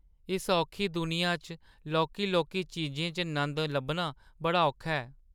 इस औखी दुनिया च लौह्की-लौह्की चीजें च नंद लब्भना बड़ा औखा ऐ।